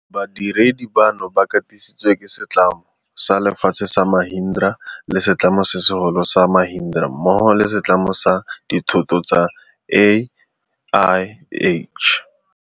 Badiredi bano ba katisi tswe ke setlamo sa lefatshe sa Mahindra le setlamo se segolo sa Mahindra mmogo le setlamo sa dithoto sa AIH.